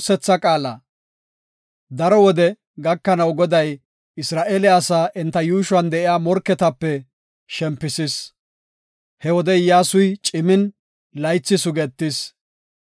Daro wode gakanaw Goday Isra7eele asaa enta yuushuwan de7iya morketape shempisis. He wode Iyyasuy cimin, laythi sugetis.